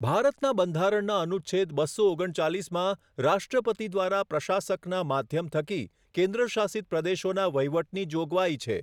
ભારતના બંધારણના અનુચ્છેદ બસો ઓગણચાલીસમાં રાષ્ટ્રપતિ દ્વારા પ્રશાસકનાં માધ્યમ થકી કેન્દ્રશાસિત પ્રદેશોના વહીવટની જોગવાઈ છે.